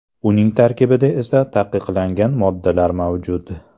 Uning tarkibida esa taqiqlangan moddalar mavjud.